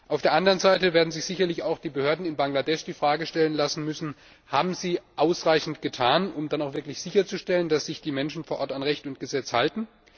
Auf der anderen Seite werden sich sicher auch die Behörden in Bangladesch die Frage stellen lassen müssen Haben sie ausreichend getan, um sicherzustellen, dass sich die Menschen vor Ort an Recht und Gesetz halten?